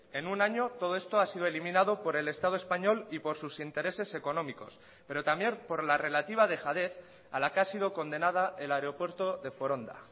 en un año todo esto ha sido eliminado por el estado español y por sus intereses económicos pero también por la relativa dejadez a la que ha sido condenada el aeropuerto de foronda